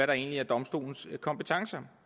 der egentlig er domstolens kompetence